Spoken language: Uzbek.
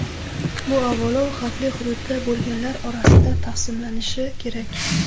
Bu avvalo xavfli hududda bo‘lganlar orasida taqsimlanishi kerak.